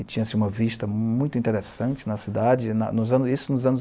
E tinha-se uma vista muito interessante na cidade, na isso nos anos